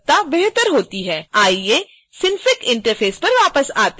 आइए synfig interface पर वापस आते हैं